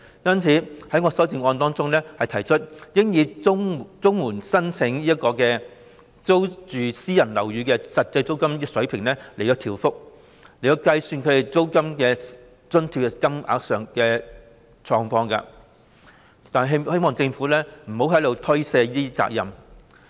因此，我在修正案提出應以綜援申領人租住私人樓宇的實際租金升幅，計算其租金津貼的金額，是希望政府不要推卸責任。